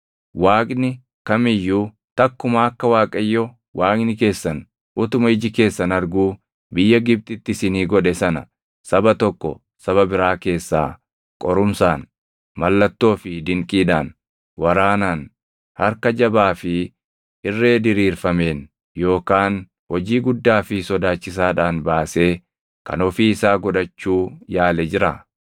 Waaqni kam iyyuu takkumaa akka Waaqayyo Waaqni keessan utuma iji keessan arguu biyya Gibxitti isinii godhe sana saba tokko saba biraa keessaa qorumsaan, mallattoo fi dinqiidhaan, waraanaan, harka jabaa fi irree diriirfameen, yookaan hojii guddaa fi sodaachisaadhaan baasee kan ofii isaa godhachuu yaale jira?